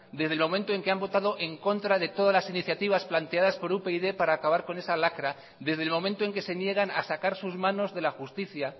desde el momento en que han votado en contra de todas las iniciativas planteadas por upyd para acabar con esa lacra desde el momento en que se niegan a sacar sus manos de la justicia